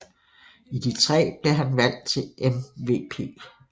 I de tre blev han valgt til MVP